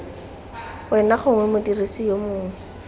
wena gongwe modirisi yo mongwe